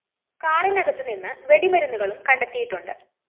കാറിനകത്തു നിന്ന് വെടിമരുന്നുകളും കണ്ടെത്തിയിട്ടുണ്ട്